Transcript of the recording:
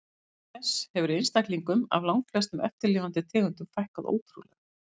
Auk þess hefur einstaklingum af langflestum eftirlifandi tegundum fækkað ótrúlega.